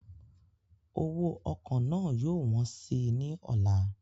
Owó ọkọ̀ náà yóò wọ́n sí i ní ọ̀la